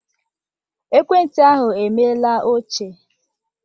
Ekwentị ahụ emela ochie.